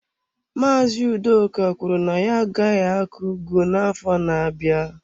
Maazị Udoka kwuru na ya agaghị akọ ugu n'afọ na-abịa.